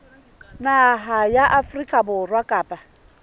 naha ya afrika borwa kapa